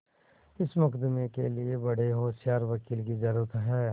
इस मुकदमें के लिए बड़े होशियार वकील की जरुरत है